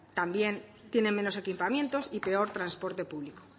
también tienen menos equipamientos y peor transporte público